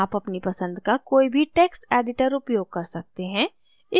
आप अपनी पसंद का कोई भी टेक्स्ट editor उपयोग कर सकते हैं